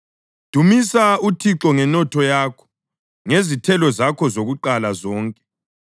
Dumisa uThixo ngenotho yakho; ngezithelo zakho zokuqala zonke;